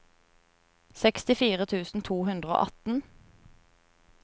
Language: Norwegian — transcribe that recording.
sekstifire tusen to hundre og atten